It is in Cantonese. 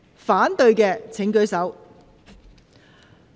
反對的請舉手。